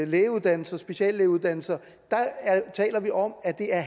lægeuddannelser speciallægeuddannelser taler vi om at det er